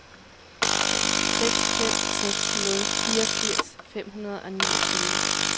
seks fem seks nul fireogfirs fem hundrede og niogtyve